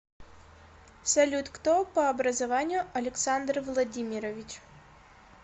салют кто по образованию александр владимирович